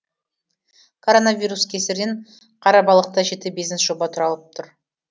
коронавирус кесірінен қарабалықта жеті бизнес жоба тұралап тұр